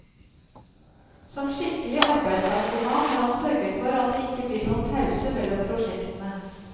Som skikkelig arbeidsnarkoman har han sørget for at det ikke blir noen pause mellom prosjektene.